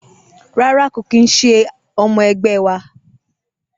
Rárá kò kín se ọmọ ẹgbẹ wa.